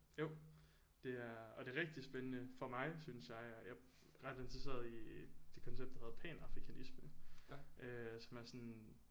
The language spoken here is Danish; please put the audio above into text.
Jo det er og det er rigtig spændende for mig synes jeg at jeg er ret interesseret i det koncept der hedder panafrikanisme øh som er sådan